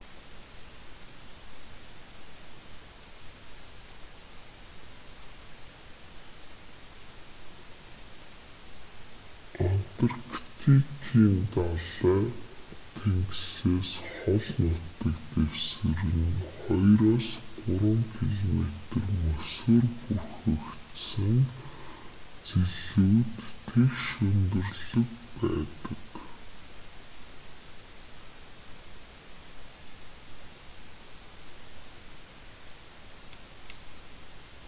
антарктикийн далай тэнгисээс хол нутаг дэвсгэр нь 2-3 км мөсөөр бүрхэгдсэн зэлүүд тэгш өндөрлөг байдаг